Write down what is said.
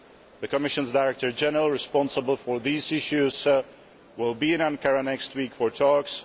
The Commission's Director General responsible for these issues will be in Ankara next week for talks.